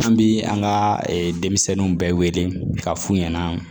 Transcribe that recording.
An bi an ka denmisɛnninw bɛɛ wele k'a f'u ɲɛna